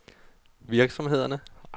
virksomhederne